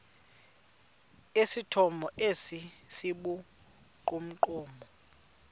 esithomo esi sibugqomogqomo